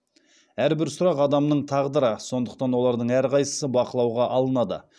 әрбір сұрақ адамның тағдыры сондықтан олардың әрқайсысы бақылауға алынады